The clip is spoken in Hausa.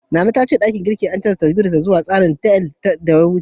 Nana ta ce ɗakin girkin an canja tsarin sa zuwa taswirar L, watan da ya wuce.